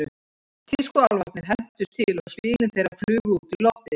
Tískuálfarnir hentust til og spilin þeirra flugu út í loftið.